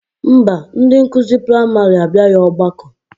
Mba, ndị nkụzi praịmarị abịaghị ọgbakọ